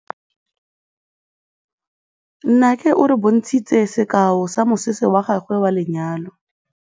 Nnake o re bontshitse sekaô sa mosese wa gagwe wa lenyalo.